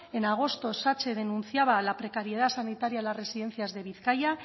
en agosto satse denunciaba la precariedad sanitaria en las residencias de bizkaia